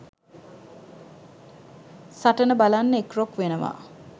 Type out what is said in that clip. සටන බලන්න එක්රොක් වෙනවා